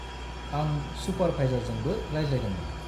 -आं सुपारभाइजारजोंबो रायज्लायदोंमोन।